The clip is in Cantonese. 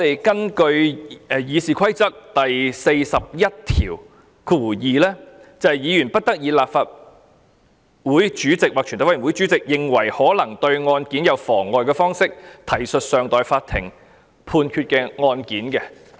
根據《議事規則》第412條，"議員不得以立法會主席或全體委員會主席認為可能對案件有妨害的方式，提述尚待法庭判決的案件"。